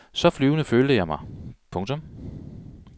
Så flyvende følte jeg mig. punktum